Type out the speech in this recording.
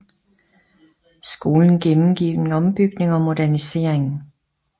Skolen gennemgik en ombygning og modernisering